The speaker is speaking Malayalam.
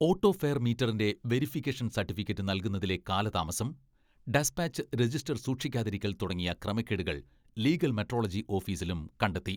ഓട്ടോ ഫെയർ മീറ്ററിന്റെ വേരിഫിക്കേഷൻ സർട്ടിഫിക്കറ്റ് നൽകുന്നതിലെ കാലതാമസം, ഡെസ്പാച്ച് രജിസ്റ്റർ സൂക്ഷിക്കാതിരിക്കൽ തുടങ്ങിയ ക്രമക്കേടുകൾ ലീഗൽ മെട്രോളജി ഓഫീസിലും കണ്ടെത്തി.